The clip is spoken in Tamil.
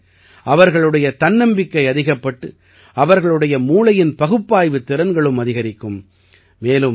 இதன் வாயிலாக அவர்களுடைய தன்னம்பிக்கை அதிகப்பட்டு அவர்களுடைய மூளையின் பகுப்பாய்வுத் திறன்களும் அதிகரிக்கும்